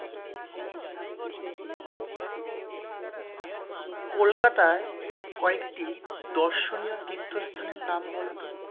কলকাতায়, কয়েকটি দর্শনীয় তীর্থস্থানের নাম বলো তো,